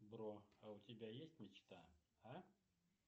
бро а у тебя есть мечта а